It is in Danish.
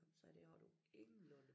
Sagde det har du ingenlunde